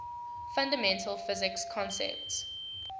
fundamental physics concepts